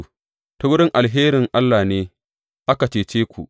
Ta wurin alherin Allah ne aka cece ku.